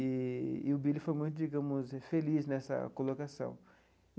E e o Billy foi muito, digamos, feliz nessa colocação.